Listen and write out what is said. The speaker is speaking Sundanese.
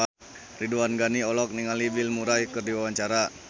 Ridwan Ghani olohok ningali Bill Murray keur diwawancara